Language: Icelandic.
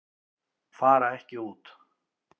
Fara ekki út